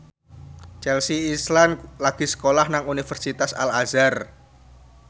Chelsea Islan lagi sekolah nang Universitas Al Azhar